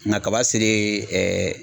Nka kaba selen